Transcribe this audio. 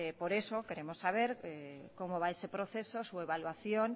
por eso queremos saber cómo va ese proceso su evaluación